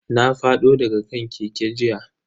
Na fado daga kan keke jiya.